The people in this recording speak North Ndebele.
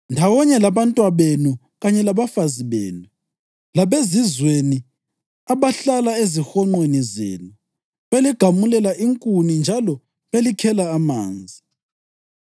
ndawonye labantwabenu kanye labafazi benu, labezizweni abahlala ezihonqweni zenu beligamulela inkuni njalo belikhela amanzi.